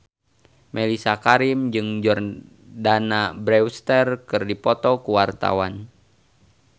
Mellisa Karim jeung Jordana Brewster keur dipoto ku wartawan